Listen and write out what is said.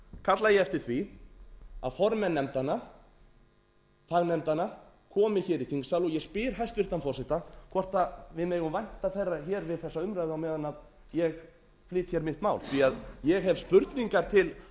kalla ég eftir því að formenn fagnefndanna komi hér í þingsal og ég spyr hæstvirts forseta hvort við megum vænta þeirra hér við þessa umræðu á meðan ég flyt hér mitt mál ég hef spurningar til